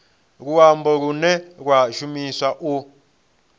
luambo lune lwa shumiswa u